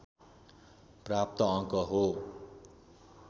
प्राप्त अङ्क हो